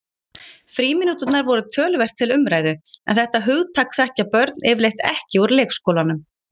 Frímínúturnar voru töluvert til umræðu en þetta hugtak þekkja börn yfirleitt ekki úr leikskólanum.